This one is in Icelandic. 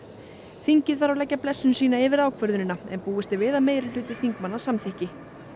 þingið þarf að leggja blessun sína yfir ákvörðunina en búist er við að meirihluti þingmanna samþykki